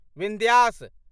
Vindhyas